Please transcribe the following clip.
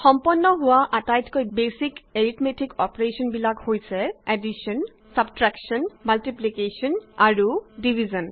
সম্পন্ন হোৱা আটাইতকৈ বেইছিক এৰিথমেটিক অপাৰেশ্যন বিলাক হৈছে এডিশ্যন ছাব্ছ্ট্ৰেকশ্যন মাল্টিপ্লিকেশ্যন আৰু ডিভিজন